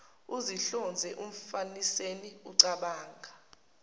izinhlonze umfaniseni ecabanga